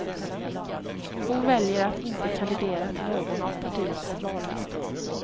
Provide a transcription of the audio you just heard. Hon väljer att inte kandidera till någon av partiets vallistor.